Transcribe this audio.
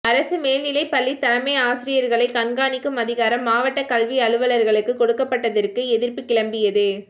அரசு மேல்நிலைப் பள்ளி தலைமைஆசிரியர்களை கண்காணிக்கும் அதிகாரம் மாவட்டக் கல்வி அலுவலர்களுக்கு கொடுக்கப்பட்டதற்கு எதிர்ப்பு கிளம்பியது